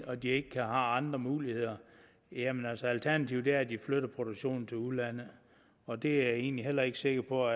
og de ikke har andre muligheder jamen så er alternativet at de flytter produktionen til udlandet og det er jeg egentlig heller ikke sikker på